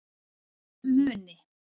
Muni